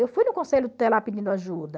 Eu fui no conselho tutelar pedindo ajuda.